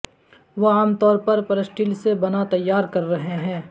وہ عام طور پر سٹیل سے بنا تیار کر رہے ہیں